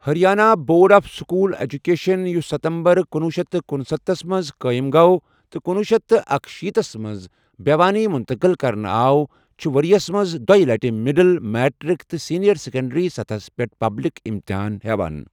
Haryana board of school education, یُوس ستمبر کنُۄہ شیتھ تہٕ کُنسَتتھ تھس منٛز قٲئم گوٚو تہٕ کُنوہ شیتھ تہٕ اکشیٖتھس منٛز بھیِوانی منتقل کرنہٕ آو ، چھُ ورۍ یَس منٛز دۄییہِ لٹہِ مڈل، میٹرک تہٕ سینئر سیکنڈری سطحس پٮ۪ٹھ پبلک امتحان ہیٚوان ۔